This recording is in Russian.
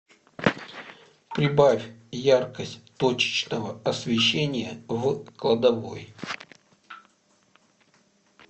прибавь яркость точечного освещения в кладовой